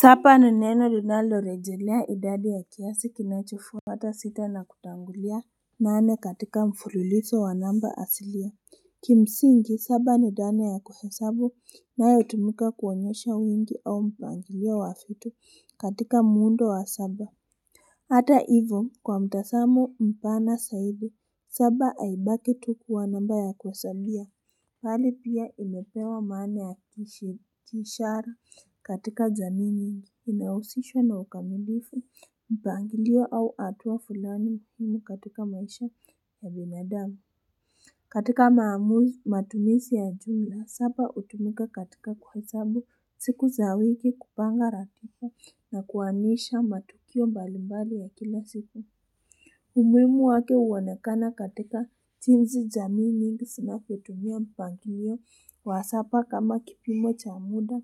Sapa ni neno linalo rejelea idadi ya kiasi kinachofuata sita na kutangulia. Nane katika mfuliliso wa namba asilia. Kimsingi saba ni dana ya kuhesabu inayotumika kuonyesha wingi au mpangilio wa fitu katika muundo wa saba. Hata ivo kwa mtasamo mpana saidi saba aibaki tu kuwa namba ya kuhesabia. Hali pia imepewa maana ya kiishara katika zamini, inayohusishwa na ukamilifu, mpangilio au atuwa fulani mhimu katika maisha ya binadamu. Katika maamuzi matumisi ya jumla na sapa utumika katika kuhachabu siku za wiki kupanga ratifa na kuanisha matukio mbalimbali wa kila siku. Umuimu wake uonekana katika jinzi jamii mingi sinafotumia mpangilio wa sapa kama kipimo cha muda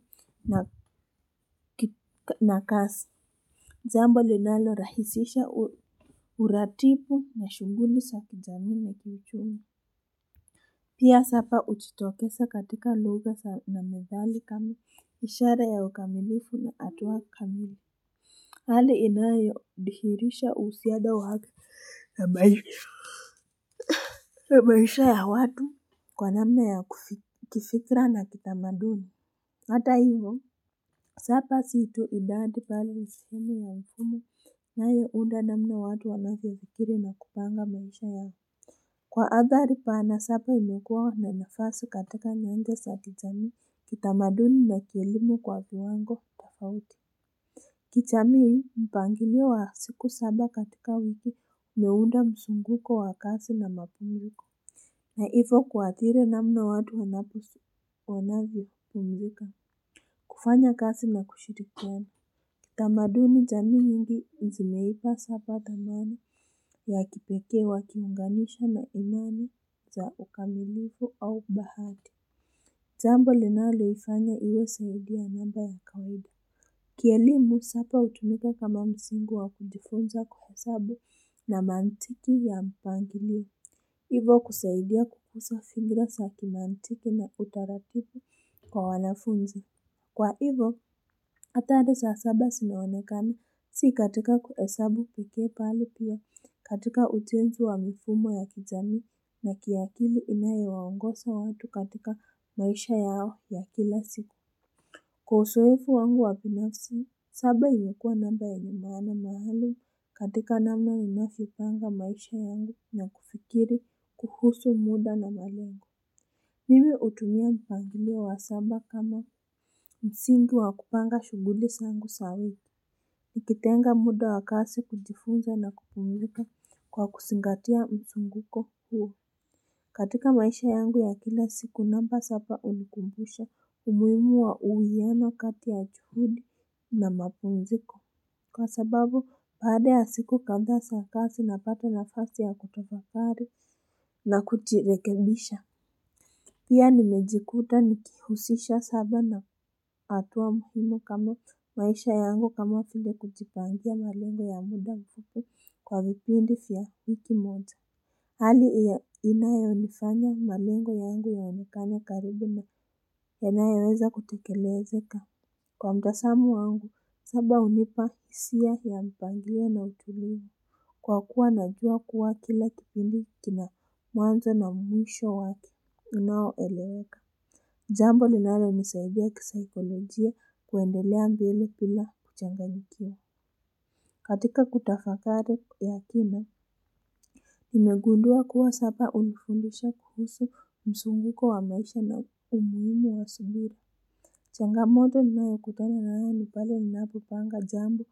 na kasi. Jambo linalo rahisisha uratipu na shuguli sa kijamii na kiuchumi. Pia sapa ujitokesa katika lugha na mezali kama, ishara ya wakamilifu na atuwa kamili. Hali inayo dihirisha usiada wake na maisha. Maisha ya watu kwa namna ya kifikra na kitamaduni hata hivo sapa si tu idadi pala mishume ya wikume na ye nda namna watu walafi ya kikiri na kupanga maisha yao wikume kwa abari paana sapa imekuwa na mfaso katika nyenge sati jamii kitamaduni na kilimu kwa viwango tofauti kichamii mpangilio wa siku saba katika wiki meunda msunguko wa kasi na mapunguko. Na hivo kuathiri namna watu wanapusu wanavyo kumilika. Kufanya kasi na kushirikiana. Tamaduni jamiii mingi njimeipa sapa ka nani ya kipeke wa kiunganishwa na unani za ukamilifu au bahati. Jambo linalo ifanya iyo saudi ya namba ya kaudi. Kielimu sapa utumika kama msingu wa kujifunza kuhesabu na mantiki ya mpangilio. Ivo kusaidia kukusa figira sakimaantiki na utaratipu kwa wanafunzi. Kwa ivo, atade sa asaba sinawonekani si katika kuesabu kukie pali pia katika ujenzi wa mifumo ya kijamii na kiakili inayo waongosa watu katika maisha yao ya kila siku. Kwa usoefu wangu wa binafsi, saba imekuwa namba yenye maana maalum katika namna imafyopanga maisha yangu na kufikiri kuhusu muda na malengo. Mimi utumia mpangilio wa saba kama msingi wa kupanga shuguli sangu sawia. Nikitenga muda wa kasi kujifunza na kupumilika kwa kusingatia msunguko huo. Katika maisha yangu ya kila siku namba sapa unikumbusha umuimu wa uwiyano kati ya chuhudi na mapumziko. Kwa sababu baada ya siku kandha sa kasi napata nafasi ya kutofakari na kuchirekebisha. Pia nimejikuta nikihusisha saba na atuwa muhimu kama maisha yangu kama file kuchipangia malengo ya muda mpufu kwa vipindi fiyabhiki mwote. Hali inaye unifanya malengo yangu ya unikanya karibu na penaye weza kutekelezeka. Kwa mtasamo wangu, saba unipa isia ya mpangilio na utulivu. Kwa kuwa naduwa kuwa kila kipindi kina mwanzo na mwisho wake, unaoeleweka. Jambo linalo nisaidia kisaikolojia kuendelea mbele pila kuchanganyikiwa. Katika kutafakari ya kina, nimegundua kuwa sapa unifundisha kuhusu msunguko wa maisha na umuimi wa suguri. Changamoto ninayo kutana nayo nipale ninaapopanga jambo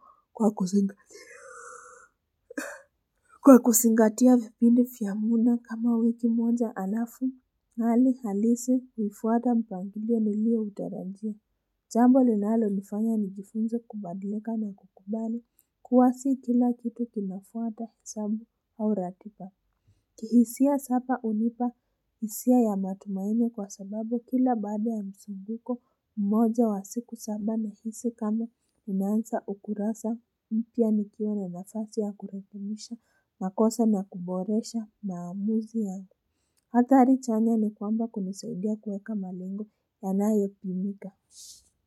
kwa kusingatia vipindi fiamuna kama wiki moja alafu. Nali halisi hiifuata mpangilia nilio utarajia. Jambo linalo nifanya nijifunza kubadilika na kukubali. Kuwa si kila kitu kinafuata sabu au ratipa. Kihisia sapa unipa isia ya matumaini kwa sababu kila baada ya msinduko mmoja wa siku saba nahisi kama ninaansa ukurasa mpia nikio na masati ya kurefumisha makosa na kuboresha maamuzi ya nda. Hatari chanya ni kwamba kuniseudia kueka malengo ya nae pimika. Kwa hivyo.